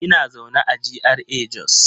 Ina zaune a GRA Jos.